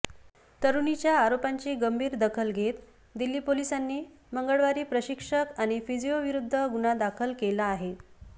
तरुणीच्या आरोपांची गंभीर दखल घेत दिल्ली पोलिसांनी मंगळवारी प्रशिक्षक आणि फिजिओविरुद्ध गुन्हा दाखल केला आहे